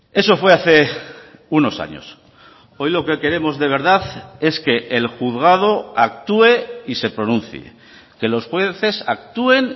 eso fue hace unos años hoy lo que queremos de verdad es que el juzgado actúe y se pronuncie que los jueces actúen